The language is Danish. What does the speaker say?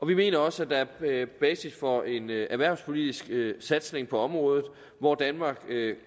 vi mener også at der er basis for en erhvervspolitisk satsning på området hvor danmark